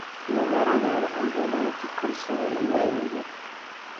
Maharage aan cambuladha kugarsadho iika iibi.